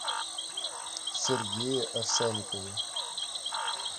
сергее овсянникове